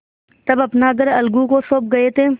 तब अपना घर अलगू को सौंप गये थे